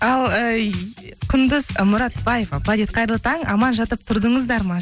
ал ыыы құндыз мұратбаева қайырлы таң аман жатып тұрдыңыздар ма